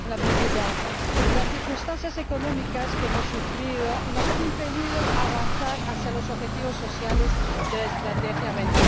Señora Presidenta, las circunstancias económicas que hemos sufrido nos han impedido avanzar hacia los objetivos sociales de la Estrategia Europa